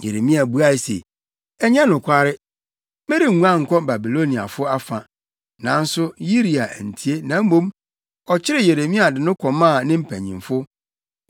Yeremia buae se, “Ɛnyɛ nokware. Merenguan nkɔ Babiloniafo afa.” Nanso Yiria antie, na mmom ɔkyeree Yeremia de no kɔmaa ne mpanyimfo.